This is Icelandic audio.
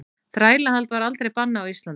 Þrælahald var aldrei bannað á Íslandi.